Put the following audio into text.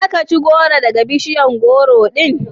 Za ka ci gworo daga bishiyar gworo din?